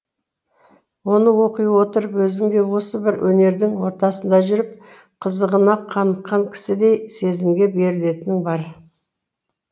оны оқи отырып өзің де осы бір өнердің ортасында жүріп қызығына қаныққан кісідей сезімге берілетінің бар